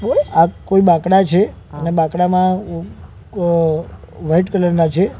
આ કોઈ બાકડા છે અને બાંકડામા અ વાઈટ કલર ના છે.